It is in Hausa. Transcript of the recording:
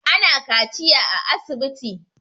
Ana kaciya a asibiti